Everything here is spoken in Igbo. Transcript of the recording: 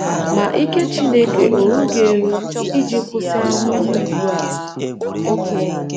‘ Ma ike Chineke ó rughị eru iji kwụsị ahụhụ ugbu a? ’